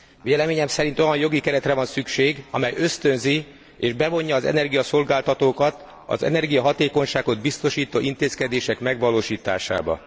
Véleményem szerint olyan jogi keretre van szükség, amely ösztönzi és bevonja az energiaszolgáltatókat az energiahatékonyságot biztosító intézkedések megvalósításába.